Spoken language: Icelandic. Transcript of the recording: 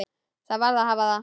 Það varð að hafa það.